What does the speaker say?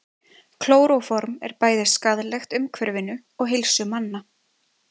Klóróform er bæði skaðlegt umhverfinu og heilsu manna.